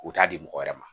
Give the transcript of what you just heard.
U t'a di mɔgɔ wɛrɛ ma